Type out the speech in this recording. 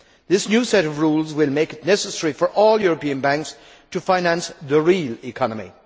This new set of rules will make it necessary for all European banks to finance the real economy.